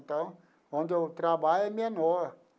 Então, onde eu trabalho é menor.